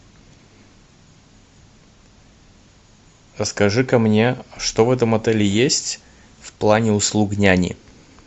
расскажи ка мне что в этом отеле есть в плане услуг няни